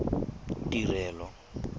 tirelo